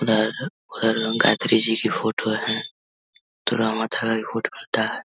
गायत्री जी की फोटो है। --